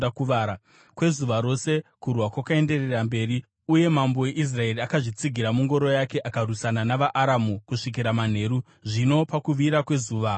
Kwezuva rose kurwa kwakaenderera mberi uye mambo weIsraeri akazvitsigira mungoro yake akarwisana navaAramu kusvikira manheru. Zvino pakuvira kwezuva akafa.